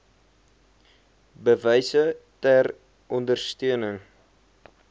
bewyse ter ondersteuning